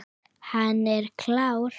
Hann er klár.